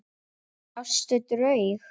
Sástu draug?